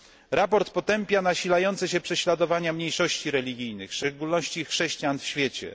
Sprawozdanie potępia nasilające się prześladowania mniejszości religijnych, w szczególności chrześcijan, w świecie.